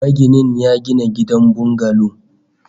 Maginin ya gina gidan bungalo